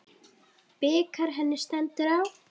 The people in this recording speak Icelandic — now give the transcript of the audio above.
Bikar henni stendur á.